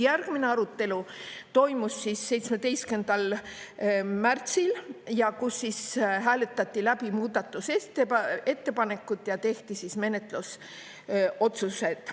Järgmine arutelu toimus 17. märtsil, siis hääletati läbi muudatusettepanekud ja tehti menetlusotsused.